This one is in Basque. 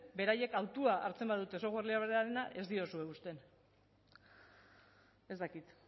beraiek hautua hartzen badute software librearena ez diozue uzten ez dakit